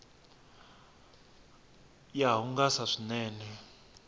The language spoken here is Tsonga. ya hungasa swinene